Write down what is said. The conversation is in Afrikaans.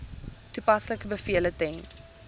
toepaslike bevele ten